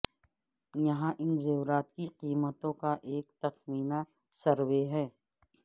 یہاں ان زیورات کی قیمتوں کا ایک تخمینہ سروے ہے